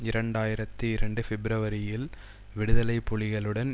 இரண்டு ஆயிரத்தி இரண்டு பிப்பிரவரியில் விடுதலை புலிகளுடன்